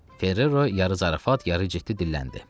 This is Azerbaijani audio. Ferrero yarı zarafat, yarı ciddi dilləndi.